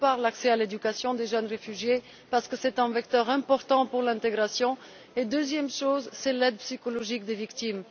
D'une part, l'accès à l'éducation des jeunes réfugiés parce que c'est un vecteur important pour l'intégration et, d'autre part, l'aide psychologique aux victimes.